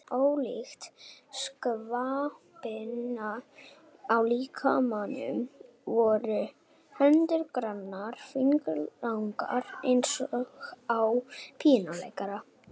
Ólíkt skvapinu á líkamanum voru hendurnar grannar, fingurnir langir eins og á píanóleikara.